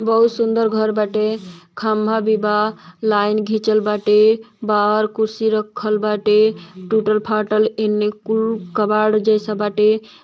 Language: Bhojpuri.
बहुत सुन्दर घर बाटे। खम्भा भी बा। लाइन घिचल बाटे। बाहर कुर्सी रखल बाटे। टूटल फाटल एने कुल कबाड़ जइसा बाटे।